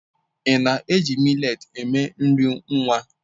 Ị na-eji millet eme nri nwa?